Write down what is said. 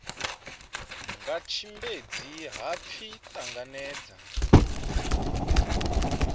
nga tshimbedzi ha pfi ṱanangedza